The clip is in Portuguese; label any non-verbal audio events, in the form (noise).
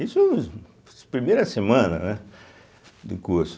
Isso (unintelligible) primeira semana, né do curso.